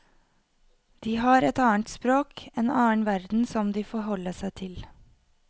De har et annet språk, en annen verden som de forholder seg til.